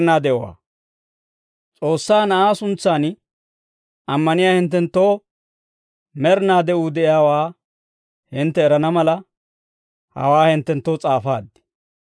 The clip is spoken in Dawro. S'oossaa Na'aa suntsan ammaniyaa hinttenttoo med'inaa de'uu de'iyaawaa hintte erana mala, hawaa hinttenttoo s'aafaad.